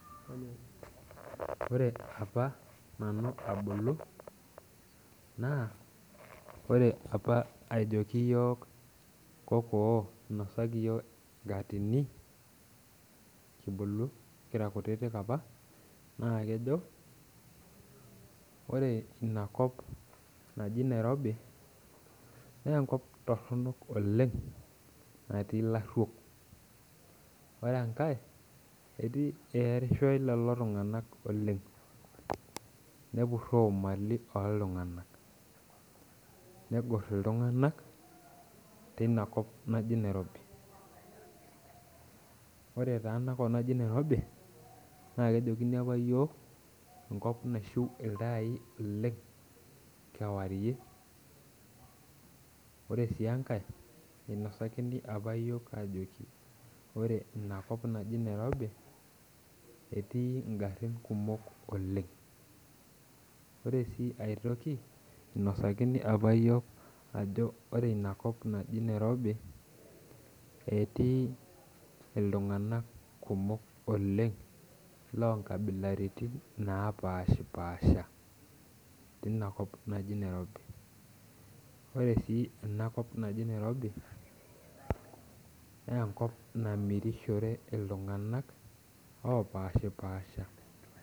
Ore apa nanu abulu naa ore apa ejoki iyiok kokoo inosaki iyiok enkatini kibulu kira kutitik apa naa kejo ore inakop naji nairobi nenkop torronok oleng natii ilarruok ore enkae etii earishoe lelo tung'anak oleng nepurro imali oltung'anak negorr iltung'anak teina kop naji nairobi ore taa enakop naji nairobi naa kejokini apa iyiok enkop naishiu iltai oleng kewarie ore sii enkae einosakini apa iyiok ajoki ore inakop naji nairobi etii ingarrin kumok oleng ore sii aetoki inosakini apa yiok ajo ore inakop naji nairobi etii iltung'anak kumok oleng lonkabilaritin napashipasha tinakop naji nairobi ore sii enakop naji nairobi nenkop namirishore iltung'anak opashipasha.